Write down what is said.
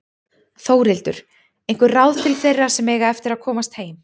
Þórhildur: Einhver ráð til þeirra sem eiga eftir að komast heim?